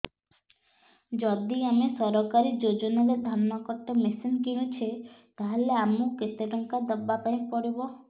ଯଦି ଆମେ ସରକାରୀ ଯୋଜନାରେ ଧାନ କଟା ମେସିନ୍ କିଣୁଛେ ତାହାଲେ ଆମକୁ କେତେ ଟଙ୍କା ଦବାପାଇଁ ପଡିବ